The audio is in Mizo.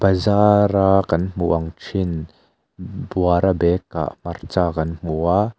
zara kan hmuh ang thin buara bag ah hmarcha kan hmu a.